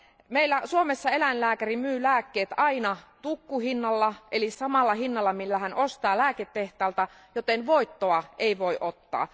Meillä Suomessa eläinlääkäri myy lääkkeet aina tukkuhinnalla eli samalla hinnalla, millä hän ostaa ne lääketehtaalta, joten voittoa hän ei voi ottaa.